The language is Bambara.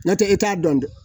N'o tɛ e t'a dɔn dɛ